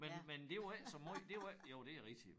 Men men det var ikke så måj det var ikke jo det rigtigt